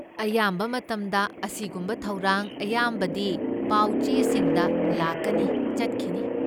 ꯑꯌꯥꯝꯕ ꯃꯇꯝꯗ, ꯑꯁꯤꯒꯨꯝꯕ ꯊꯧꯔꯥꯡ ꯑꯌꯥꯝꯕꯗꯤ ꯄꯥꯎ ꯆꯦꯁꯤꯡꯗ ꯂꯥꯛꯀꯅꯤ ꯆꯠꯈꯤꯅꯤ꯫